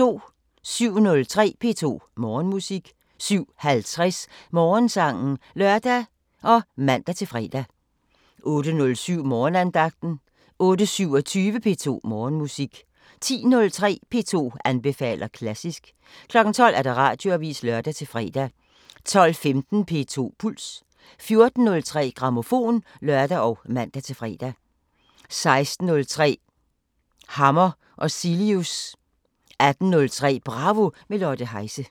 07:03: P2 Morgenmusik 07:50: Morgensangen (lør og man-fre) 08:07: Morgenandagten 08:27: P2 Morgenmusik 10:03: P2 anbefaler klassisk 12:00: Radioavisen (lør-fre) 12:15: P2 Puls 14:03: Grammofon (lør og man-fre) 16:03: Hammer og Cilius 18:03: Bravo – med Lotte Heise